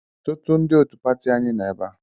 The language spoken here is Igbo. Ọtụtụ ndị òtù pati anyị nọ ebe a.